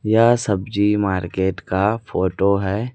यह सब्जी मार्केट का फोटो है।